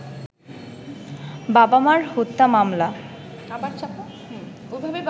বাবা-মা হত্যা মামলায়